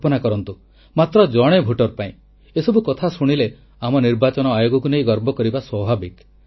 କଳ୍ପନା କରନ୍ତୁ ମାତ୍ର ଜଣେ ଭୋଟର ପାଇଁ ଏସବୁ କଥା ଶୁଣିଲେ ଆମ ନିର୍ବାଚନ ଆୟୋଗକୁ ନେଇ ଗର୍ବ କରିବା ସ୍ୱାଭାବିକ